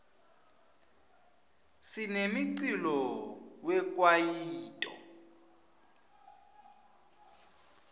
sinemiculo we kwaito